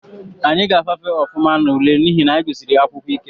Anyị ga-afafe ofụma n’ule n’ihi na anyị gusiri akwụkwọ ike